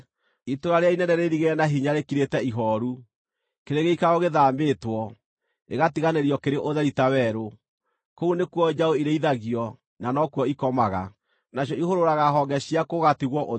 Itũũra rĩrĩa inene rĩirigĩre na hinya rĩkirĩte ihooru, kĩrĩ gĩikaro gĩthaamĩtwo, gĩgatiganĩrio kĩrĩ ũtheri ta werũ; kũu nĩkuo njaũ irĩithagio, na nokuo ikomaga; nacio ihũrũraga honge ciakuo gũgatigwo ũtheri.